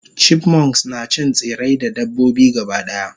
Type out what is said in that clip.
chipmunks nacin tsirrai da dabbobi gabadaya